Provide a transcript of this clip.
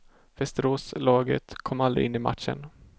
Västeråslaget kom aldrig in i matchen.